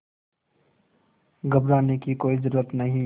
घबराने की कोई ज़रूरत नहीं